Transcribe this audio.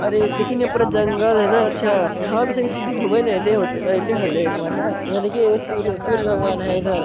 और देखी ने पूरा जंगल है ना अच्छा हां ई दीदी ऐता घूमे ले आल हेते आइले हेलो एक बार ना यहां देखि एक सूरज भगवान है उधर--